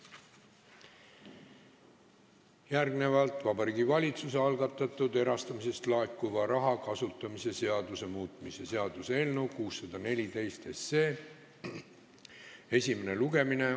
Järgmine päevakorrapunkt on Vabariigi Valitsuse algatatud erastamisest laekuva raha kasutamise seaduse muutmise seaduse eelnõu 614 esimene lugemine.